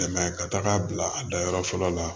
ka taga bila a dayɔrɔ fɔlɔ la